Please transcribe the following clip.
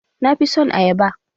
Na fi son ayaba.